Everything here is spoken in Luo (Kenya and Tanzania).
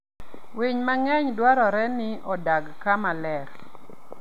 Winy mang'eny dwarore ni odag kama ler.